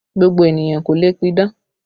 Gbogbo ènìyàn kọ́ ló lè pidán